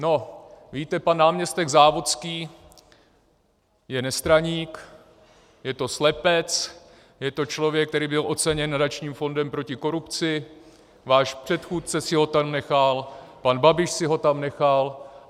No, víte, pan náměstek Závodský je nestraník, je to slepec, je to člověk, který byl oceněn Nadačním fondem proti korupci, váš předchůdce si ho tam nechal, pan Babiš si ho tam nechal.